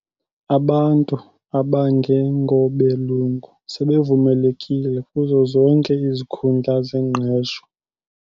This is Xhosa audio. Abantu abangengobelungu sebevumeleke kuzo zonke izikuhundla zengqesho.